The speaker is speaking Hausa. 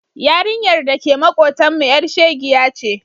Yarinyar da ke maƙotanmu ƴar shegiya ce.